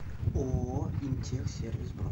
ооо интехсервис бронь